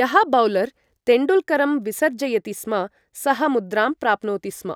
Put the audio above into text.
यः बौलर् तेण्डुल्करं विसर्जयति स्म सः मुद्रां प्राप्नोति स्म।